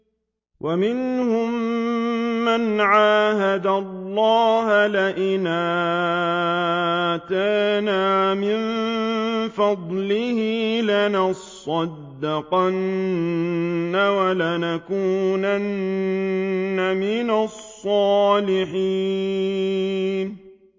۞ وَمِنْهُم مَّنْ عَاهَدَ اللَّهَ لَئِنْ آتَانَا مِن فَضْلِهِ لَنَصَّدَّقَنَّ وَلَنَكُونَنَّ مِنَ الصَّالِحِينَ